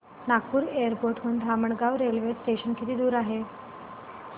Nagpur airport हून Dhamangaon railway station किती दूर आहे